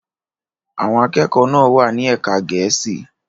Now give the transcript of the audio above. Àwọn akẹ́kọ̀ọ́ náà wà ní ẹ̀ka Gẹ̀ẹ́sì.